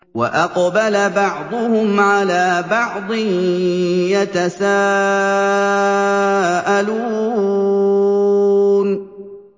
وَأَقْبَلَ بَعْضُهُمْ عَلَىٰ بَعْضٍ يَتَسَاءَلُونَ